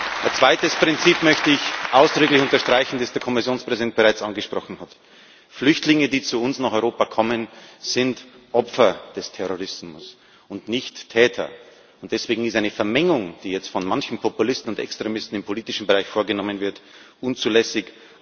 Ein zweites Prinzip möchte ich ausdrücklich unterstreichen, das der Kommissionspräsident bereits angesprochen hat Flüchtlinge, die zu uns nach Europa kommen, sind Opfer des Terrorismus und nicht Täter. Deswegen ist eine Vermengung, die jetzt von manchen Populisten und Extremisten im politischen Bereich vorgenommen wird, unzulässig.